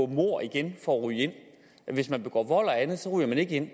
mord igen for at ryge ind men hvis man begår vold og andet ryger man ikke ind